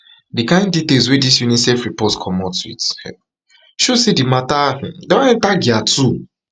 di kain details wey dis unicef report comot wit um show say di mata um don enta gear two